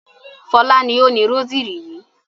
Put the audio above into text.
Fọlá ni ó ni rósírì yìí.